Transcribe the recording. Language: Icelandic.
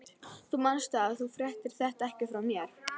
Þú manst það, að þú fréttir þetta ekki frá mér.